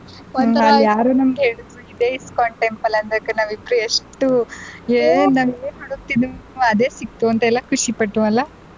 ಅಲ್ಲಿ ಯಾರು ನಮ್ಗೆ ಹೇಳುದ್ರು ಇದೆ ISKCON temple ಅಂತ ಅಂದಾಗ ನಾವು ಇಬ್ರು ಎಷ್ಟು ನಾವು ಏನ್ ಹುಡುಕ್ತಿದ್ವು ಅದೇ ಸಿಕ್ತು ಅಂತೆಲ್ಲಾ ಖುಷಿ ಪಟ್ಟ್ವು ಅಲ್ವಾ.